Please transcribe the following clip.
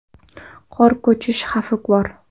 Qor ko‘chish xavfi bor.